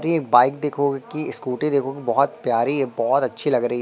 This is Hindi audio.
ये बाइक देखो कि स्कूटी देखो बहोत प्यारी है बहोत अच्छी लग रही--